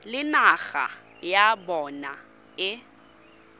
le naga ya bona e